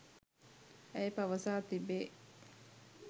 ඇය පවසා තිබේ.